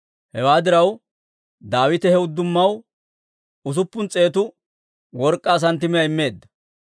Hewaa diraw, Daawite he uddumaw usuppun s'eetu work'k'aa santtimiyaa immeedda.